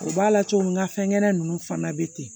O b'a la cogo min ka fɛn gɛlɛn ninnu fana bɛ ten